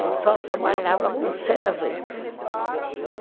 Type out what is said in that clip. Eu só trabalhava com